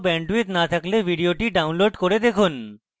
ভাল bandwidth না থাকলে ভিডিওটি download করে দেখুন